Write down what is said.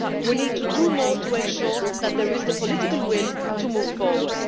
We need to do more to ensure that there is the political will to move forward.